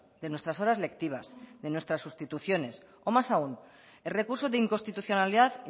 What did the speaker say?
de nuestras horas lectivas de nuestras sustituciones o más aun el recuso de inconstitucionalidad